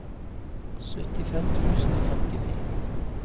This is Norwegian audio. syttifem tusen og trettini